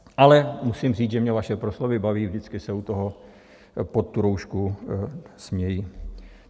Ale musím říct, že mě vaše proslovy baví, vždycky se u toho pod tu roušku směji.